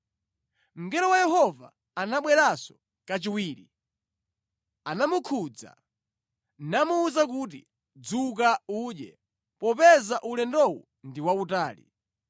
Mngelo wa Yehova anabweranso kachiwiri, anamukhudza, namuwuza kuti, “Dzuka udye, popeza ulendowu ndi wautali.”